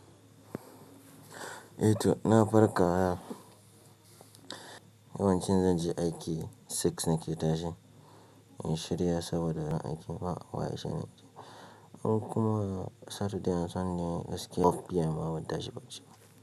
Eh to na farka yau, yawancin zan je aiki six nake tashi, in shirya saboda ran aiki ba waye shan aiki. Ko kuma satude an sunde gaskiya PM ma ban tashi bacci ba.